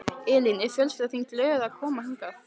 Elín: Er fjölskyldan þín glöð að koma hingað?